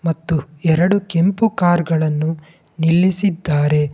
ಮತ್ತು ಎರಡು ಕೆಂಪು ಕಾರ್ ಗಳನ್ನು ನಿಲ್ಲಿಸಿದ್ದಾರೆ.